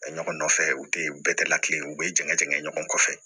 Ɲɔgɔn nɔfɛ u tɛ u bɛɛ tɛ lakilen u bɛ jɛngɛn ɲɔgɔn fɛ